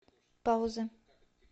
пауза